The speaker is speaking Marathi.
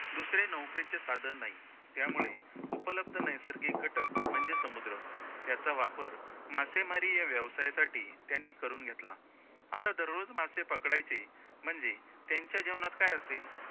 दुसरे नौकेचे साधन नाही, त्यामुळे उपलब्ध नैसर्गिक घटक म्हणजे समुद्र, त्याचा वापर मासेमारी या व्यवसायासाठी त्यांनी करून घेतला, आता दररोज मासे पकडायचे म्हणजे त्यांच्या जेवणात काय असेल,